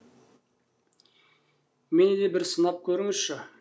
мені де бір сынап көріңізші